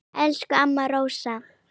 Elsku amma Rósa.